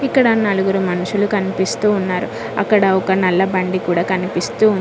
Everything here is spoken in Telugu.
ఇక్కడ నలుగురు మనుషులు కనిపిస్తూ ఉన్నారు అక్కడ ఒక నల్ల బండి కూడా కనిపిస్తూ ఉం--